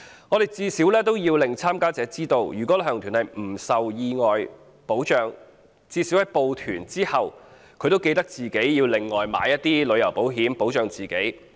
我們最少也要令參加者知道，如果旅行團不受有關基金或計劃保障，參加者最少應在報團後自行另購旅行保險，保障自己。